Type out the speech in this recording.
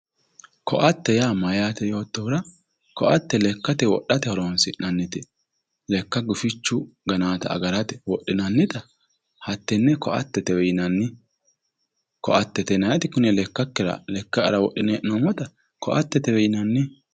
Koatte yaa mayaye yoottohura koatte lekkate wodhate horonsi'nannite lekka gufichu gananotta agarate wodhinannitta hattene koattete yinnanni koattete yinnanniti kune lekkanker wodhine hee'noommotta koattetewe yinnanni.